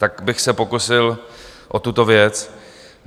Tak bych se pokusil o tuto věc.